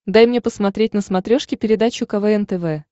дай мне посмотреть на смотрешке передачу квн тв